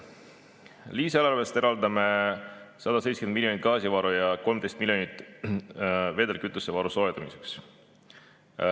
Lisaeelarvest eraldame 170 miljonit gaasivaru ja 13 miljonit vedelkütusevaru soetamiseks.